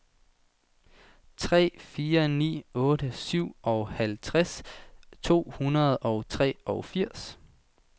tre fire ni otte syvoghalvtreds to hundrede og treogfirs